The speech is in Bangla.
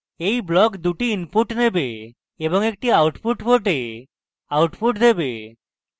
এই block দুটি inputs নেবে এবং একটি output port output দেবে